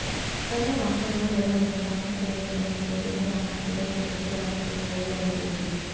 త్వరలో రాష్ట్రంలో జరగనున్న శాసనసభ ఎన్నికల నేపథ్యంలో కర్ణాటకలో ఇప్పటి నుంచే రాజకీయ వేడి రగులుతోంది